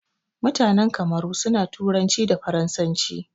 Mutanan Kamaru suna turanci da faransanci.